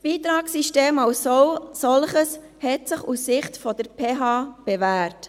Das Beitragssystem als Solches hat sich aus Sicht der PH Bern bewährt.